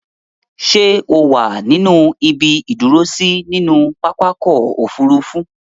Ṣẹ́ o wà ní ibi ìdúrósí nínú pápákọ̀-òfurufú?